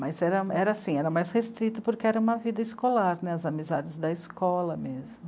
Mas era era assim, era mais restrito porque era uma vida escolar, né? As amizades da escola mesmo.